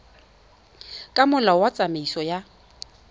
ka molao wa tsamaiso ya